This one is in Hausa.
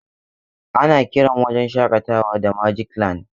Ana kiran wajen shakatawa da magic land.